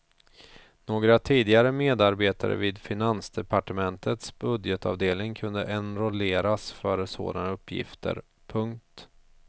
Några tidigare medarbetare vid finansdepartementets budgetavdelning kunde enrolleras för sådana uppgifter. punkt